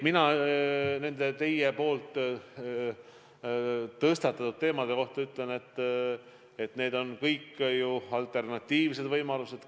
Nende teie tõstatatud teemade kohta ütlen, et need on kõik alternatiivsed võimalused.